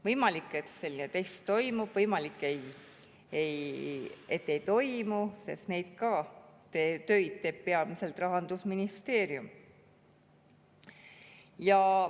Võimalik, et selline test toimub, võimalik, et ei toimu, sest neid töid teeb ka peamiselt Rahandusministeerium.